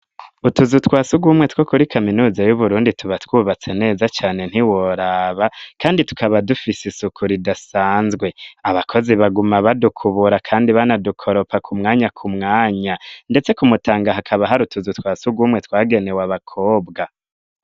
Utuzu twa surwumwe two kuri kaminuza y'Uburundi tuba twubatse neza cane ntiworaba, kandi tukaba dufise isuku ridasanzwe. Abakozi baguma badukubura kandi banadukoropa ku mwanya ku mwanya, ndetse ku Mutanga hakaba hari utuzu twa surwumwe twagenewe abakobwa.